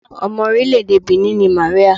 Ọmọ orílẹ̀-èdè Benin ni Màríà.